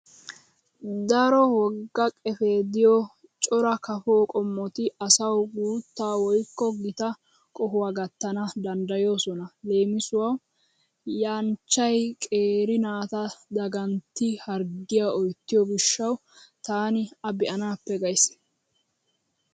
Daro wogga qefee diyo cora kafo qommoti asawu guutta woykko gita qohuwa gattana danddayoosona. Leemisuwawu yanchchay qeeri naata dagantti harggiya oyttiyo gishshawu taani a be'anaappe gays.